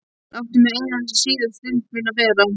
Láttu mig eina þessa síðustu stund mína hér.